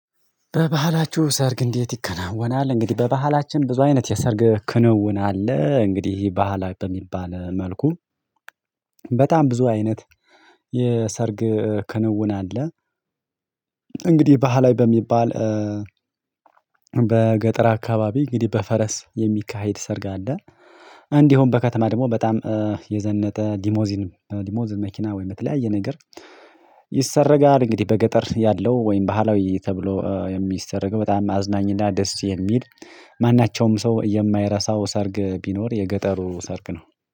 በባህላችሁ ሰርግ እንዴት? ይከናወናል እንግዲህ በባህላችን ብዙ አይነት የሰርግ ክንውን አለ። እንግዲህ ባህላዊ በሚባል መልኩ በጣም ብዙ አይነት የሰርግ ክንውን አለ። እንግዲህ ባህላዊ በሚባል። በገጠር አካባቢ እንግዲህ በፈረስ የሚካሄድ ሰርግ አለ። እንዲሁም በከተማ ደግሞ በጣም የዘነጠ ሊሞዚን ሊሞዚን መኪና ወይ በተለያየ ነገር ይሰረጋል። እንግዲህ በገጠር ያለው ወይም ባህላዊ ተብሎ የሚሰረገው በጣም አዝናኝና ደስ የሚል ማናቸውም ሰው የማይረሳው ሰርግ ቢኖር የገጠሩ ሰርግ ነው።